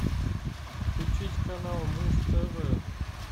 включить канал муз тв